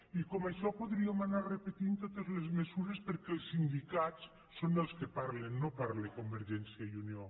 i com això podríem anar repetint totes les mesures perquè els sindicats són els que parlen no parla con·vergència i unió